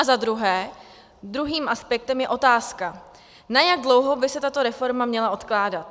A za druhé, druhým aspektem je otázka, na jak dlouho by se tato reforma měla odkládat.